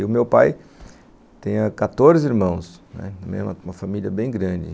E o meu pai tem quatorze irmãos, né, uma família bem grande.